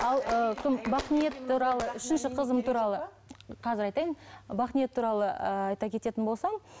қазір айтайын бақниет туралы ыыы айта кететін болсам